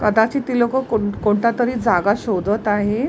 कदाचित ती लोकं कोण कोणतातरी जागा शोधत आहेत.